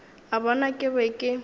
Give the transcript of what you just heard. a bona ke be ke